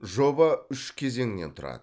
жоба үш кезеңнен тұрады